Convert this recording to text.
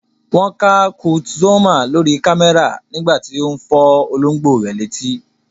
Wọ́n ká Kurt Zuoma lórí kámẹ́rà nígbà tí ó ń fọ́ olóńgbò rẹ̀ létí.